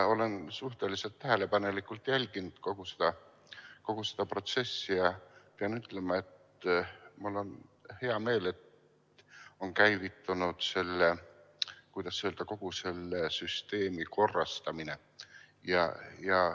Ma olen suhteliselt tähelepanelikult jälginud kogu seda protsessi ja pean ütlema, et mul on hea meel, et on käivitunud, kuidas öelda, kogu selle süsteemi korrastamine.